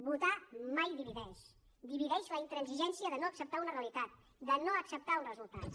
votar mai divideix divideix la intransigència de no acceptar una realitat de no acceptar uns resultats